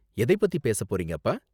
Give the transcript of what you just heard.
எதைப் பத்தி பேசப் போறீங்க, அப்பா?